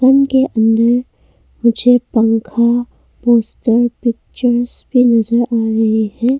उनके अंदर मुझे पंखा पोस्टर पिक्चर्स भी नजर आ रहे हैं।